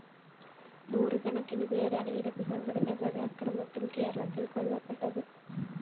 നൂറുകണക്കിന് പേരാണ് ഇടതു സംഘടനകളുടെ അക്രമത്തില്‍ കേരളത്തില്‍ കൊല്ലപ്പെട്ടത്